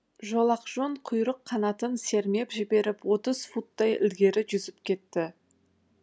жолақжон құйрық қанатын сермеп жіберіп отыз футтай ілгері жүзіп кетті